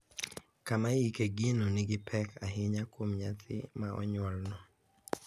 Kama iike gino nigi pek ahinya kuom nyathi ma onyuol no,